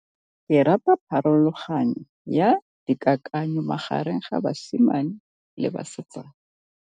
Ke rata pharologanyô ya dikakanyô magareng ga basimane le basetsana.